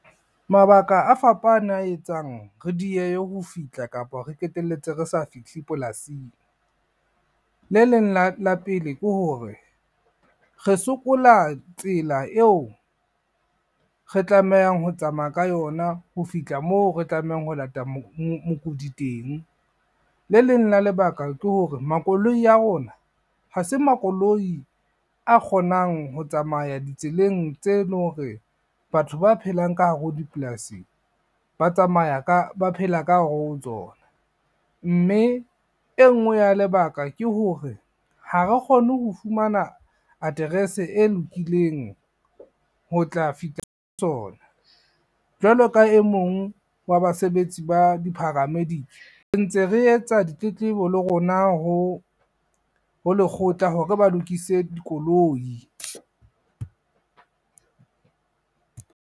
Mabaka a fapane a etsang, re diehe ho fihla kapa re qeteletse re sa fihle polasing. Le leng la pele ke hore re sokola tsela eo re tlamehang ho tsamaya ka yona ho fihla moo re tlamehang ho lata mokudi teng. Le leng la lebaka ke hore makoloi a rona, ha se makoloi a kgonang ho tsamaya ditseleng tse leng hore batho ba phelang ka hare ho dipolasing ba phela ka hare ho tsona. Mme e nngwe ya lebaka ke hore, ha re kgone ho fumana aterese e lokileng ho tla fihla tsona, jwalo ka e mong wa basebetsi ba di-paramedic, re ntse re etsa ditletlebo le rona ho lekgotla hore ba lokise dikoloi.